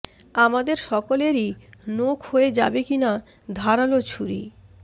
আমাদের সকলেরই নোখ হয়ে যাবে কি না ধারালো ছুরি